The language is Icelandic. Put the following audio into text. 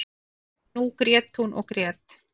En nú grét hún og grét.